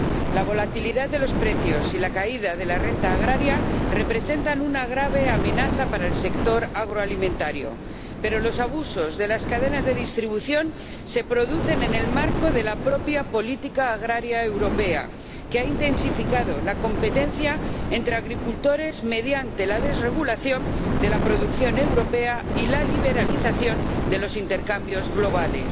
La volatilidad de los precios y la caída de la renta agraria representan una grave amenaza para el sector agroalimentario, pero los abusos de las cadenas de distribución se producen en el marco de la propia política agrícola europea, que ha intensificado la competencia entre agricultores mediante la desregulación de la producción europea y la liberalización de los intercambios globales.